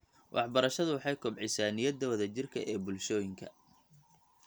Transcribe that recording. Waxbarashadu waxay kobcisaa niyadda wadajirka ee bulshooyinka .